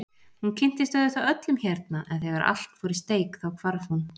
Hún kynntist auðvitað öllum hérna en þegar allt fór í steik þá hvarf hún.